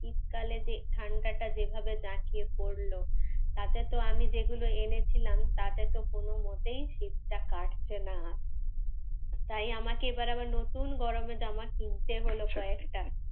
তাহলে ঠাণ্ডাটা যেভাবে জাঁকিয়ে পড়লো, তাতে তো আমি যেগুলো এনেছিলাম তাতে তো কোন মতেই শীতটা কাটছে না। তাই আমাকে এবার আবার নতুন গরমের জামা কিনতে হল কয়েকটা।